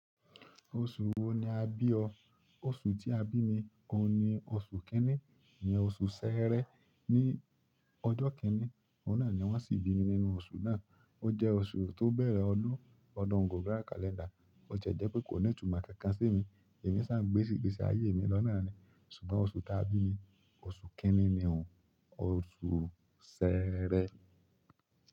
Oṣù wo ni a bí ọ? Oṣù tí a bí mi, òun ni oṣù kínní, ìyẹn oṣù Sẹẹrẹ. Ni ọjọ́ kínní, ọ̀nà ni wọ́n sì bí mi nínú oṣù náà. Ó jẹ́ oṣù tó bẹ̀rẹ̀ ọdún ọdún global kálẹ́ndà, ó ti ẹ̀ jẹ́ pé kò ní ìtumọ̀ kankan sí mi. Èmi sì ń gbe ìgbésí ayé mi lọ́nà náà ni. Ṣùgbọ́n oṣù tí a bí mi, oṣù kínní ni òun, oṣù Sẹẹrẹ.